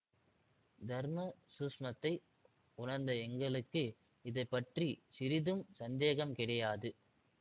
தர்ம சூக்ஷுமத்தை உணர்ந்த எங்களுக்கு இதை பற்றி சிறிதும் சந்தேகம் கிடையாது